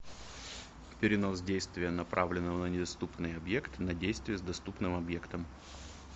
перенос действия направленного на недоступный объект на действие с доступным объектом